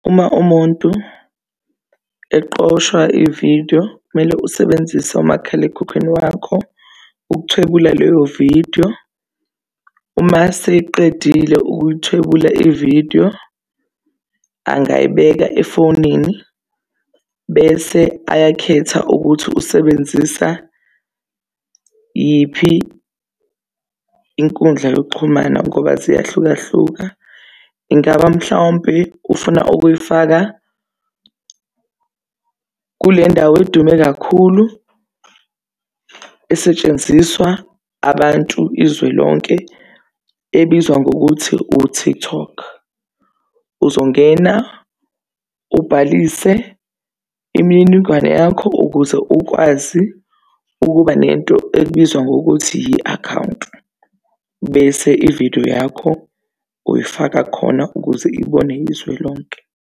Uma umuntu eqoshwa ividiyo kumele usebenzise umakhalekhukhwini wakho ukuthwebula leyo vidiyo, uma seyiqedile ukuthwebula ividiyo angayibeka efonini bese ayakhetha ukuthi usebenzisa yiphi inkundla yokuxhumana ngoba ziyahlukahlukana. Ingaba mhlawumpe ufuna ukuyifaka kule ndawo edume kakhulu esetshenziswa abantu izwe lonke ebizwa ngokuthi u-TikTok. Uzongena ubhalise imininingwane yakho ukuze ukwazi ukuba nento ebizwa ngokuthi i-akhawunti, bese ividiyo yakho uyifaka khona ukuze ibonwe izwe lonke.